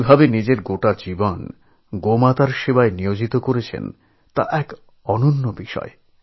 তিনি যেভাবে নিজের সমস্ত জীবন গোমাতার সেবায় সঁপে দিয়েছেন তাতে তিনি অনন্য